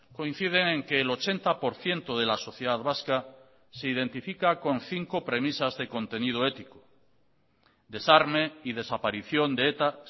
coinciden en que el ochenta por ciento de la sociedad vasca se identifica con cinco premisas de contenido ético desarme y desaparición de eta